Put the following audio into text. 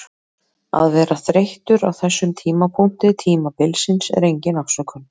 Að vera þreyttur á þessum tímapunkti tímabilsins er engin afsökun.